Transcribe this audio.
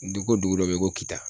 Dugu ko dugu dɔ be yen ko kita.